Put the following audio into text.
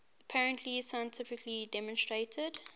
apparently scientifically demonstrated